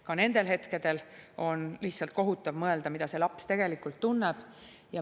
Ka nendel hetkedel on lihtsalt kohutav mõelda, mida see laps tegelikult tunneb.